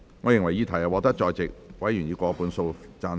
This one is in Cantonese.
我認為議題獲得在席委員以過半數贊成。